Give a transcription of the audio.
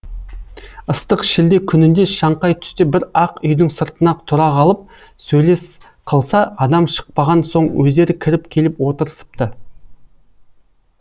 ыстық шілде күнінде шаңқай түсте бір ақ үйдің сыртына тұра қалып сөйлес қылса адам шықпаған соң өздері кіріп келіп отырысыпты